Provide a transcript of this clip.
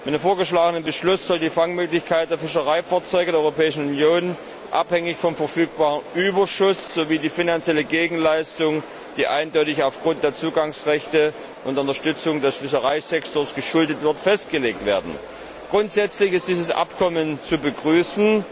Mit dem vorgeschlagenen Beschluss sollen die Fangmöglichkeiten der Fischereifahrzeuge der Europäischen Union, abhängig vom verfügbaren Überschuss, sowie die finanzielle Gegenleistung, die eindeutig aufgrund der Zugangsrechte und der Unterstützung des Fischereisektors geschuldet wird, festgelegt werden. Grundsätzlich ist dieses Abkommen zu begrüßen.